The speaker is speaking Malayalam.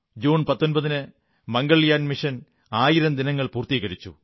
ജൂൺ 19 ന് മംഗൾയാൻ മിഷന്റെ ആയിരം ദിനങ്ങൾ പൂർത്തീകരിക്കപ്പെട്ടു